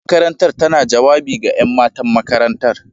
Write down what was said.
Shugaban makarantar tana jawabi ga 'yan matan makarantar.